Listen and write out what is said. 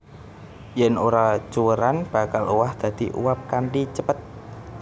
Yèn ora cuwèran bakal owah dadi uap kanthi cepet